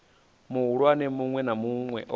muhulwane munwe na munwe o